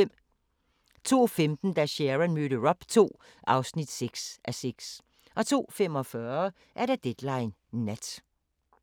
02:15: Da Sharon mødte Rob II (6:6) 02:45: Deadline Nat